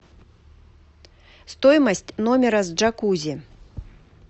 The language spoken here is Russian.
стоимость номера с джакузи